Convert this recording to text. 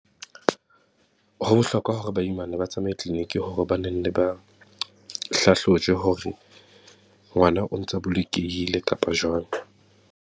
Ho bohlokwa hore baimana ba tsamaye clinic hore ba nenne ba hlahlojwe hore, ngwana o ntsa bolokehile kapa jwang?